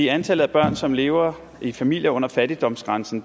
antallet af børn som lever i familier under fattigdomsgrænsen